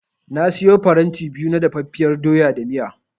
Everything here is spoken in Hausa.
Na siyo faranti biyu na dafaffiyar doya da miya.